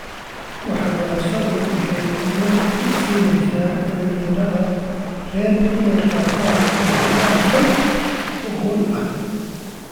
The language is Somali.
Waxbarashadu waxay awood u siinaysaa dhalinyarada rer inay qaataan go'aano xog ogaal ah.